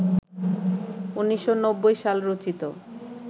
১৯৯০ সাল রচিত